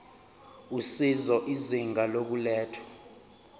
usizo izinga lokulethwa